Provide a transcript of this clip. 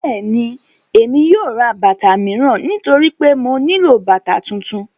Bẹ́ẹ̀ni, Emi yóò rá bátà miíran nítorí pé mó nilọ bátà tuntun.